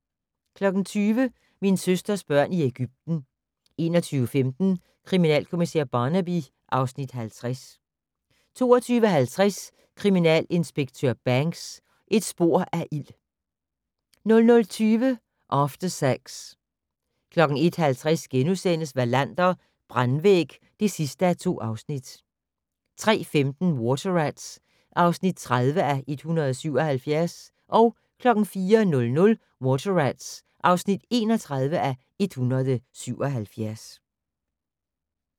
20:00: Min søsters børn i Ægypten 21:15: Kriminalkommissær Barnaby (Afs. 50) 22:50: Kriminalinspektør Banks: Et spor af ild 00:20: After Sex 01:50: Wallander: Brandvæg (2:2)* 03:15: Water Rats (30:177) 04:00: Water Rats (31:177)